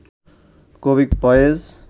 কবি ফয়েজ